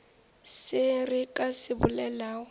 se re ka se bolelago